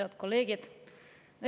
Head kolleegid!